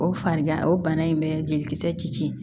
O farigan o bana in bɛ jelikisɛ ci